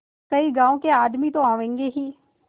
कई गाँव के आदमी तो आवेंगे ही